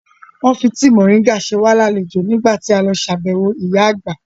Wọ́n fi tíì moringa ṣe wá lálejò nígbà tí a lọ ṣàbẹ̀wọ̀ ìyá Àgbà